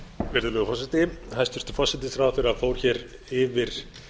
virðulegur forseti hæstvirtur forsætisráðherra fór hér yfir